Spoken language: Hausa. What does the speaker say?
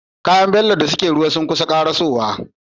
Kayan bello da suke ruwa sunkusa karaso wa